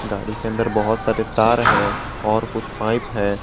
गाड़ी के अंदर बहोत सारे तार है और कुछ पाइप है।